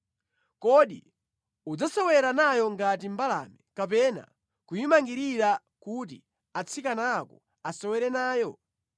Kodi udzasewera nayo ngati mbalame, kapena kuyimangirira kuti atsikana ako asewere nayo?